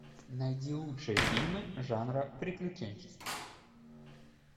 найди лучшие фильмы жанра приключенческий